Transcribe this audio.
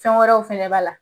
Fɛn wɛrɛw fana b'a la.